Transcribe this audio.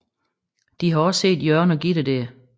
De har også set Jørgen og Gitte der